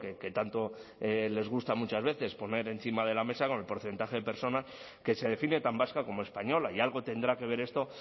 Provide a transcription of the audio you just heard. que tanto les gusta muchas veces poner encima de la mesa con el porcentaje de personas que se define tan vasca como española y algo tendrá que ver esto